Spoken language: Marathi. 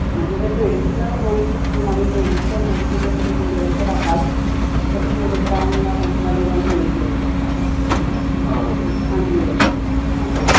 म्हणजे जर traditional होळीची theme आणि जर traditional गोष्टी जर तुम्ही interested असाल तर तुम्ही वृंदावन ला मथुरा ला जाऊन होळी खॆळू शकाल छान होळी असते